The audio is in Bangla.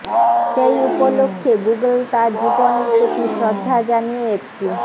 সেই উপলক্ষ্যে গুগল তাঁর জীবনের প্রতি শ্রদ্ধা জানিয়ে একটি